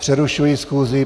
Přerušuji schůzi.